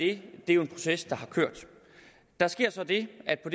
det er jo en proces der har kørt der sker så det at der